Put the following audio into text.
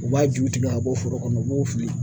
U b'a ju tigɛ ka bɔ foro kɔnɔ u b'o fili